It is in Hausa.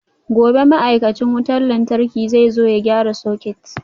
Gobe ​​ma'aikacin wutar lantarki zai zo ya gyara soket